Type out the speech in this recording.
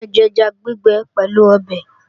Ẹ jẹja gbígbẹ pẹ̀lú ọbẹ̀!